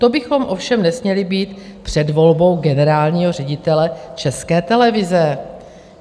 To bychom ovšem nesměli být před volbou generálního ředitele České televize.